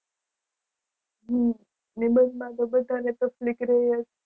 હમ નિબંધ માં તો બધાને તકલીફ રહે છે.